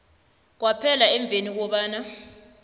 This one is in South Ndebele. kwaphela emveni kobana